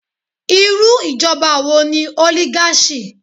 Irú ìjọba wo ni oligarchy?